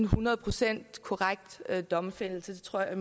hundrede procent domfældelse det tror jeg